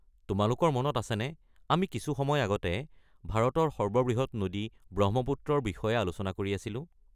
তোমালোকৰ মনত আছেনে আমি কিছু সময় আগতে ভাৰতৰ সৰ্ববৃহৎ নদী, ব্ৰহ্মপুত্ৰৰ বিষয়ে আলোচনা কৰি আছিলোঁ?